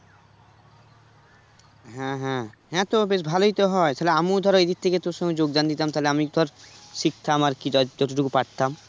হ্যাঁ হ্যাঁ, হ্যাঁ তো বেশ ভালোই তো হয় তাহলে আমুও ধর ওইদিক থেকে তোর সাথে যোগদান দিতাম তাহলে আমি ধর শিখতাম আর কি যতটুকু পারতাম